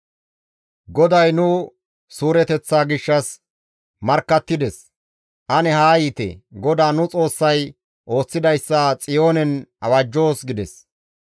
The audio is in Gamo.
GODAY nu suureteththa gishshas markkattides; ane haa yiite; GODAA nu Xoossay ooththidayssa Xiyoonen awajjoos› gides.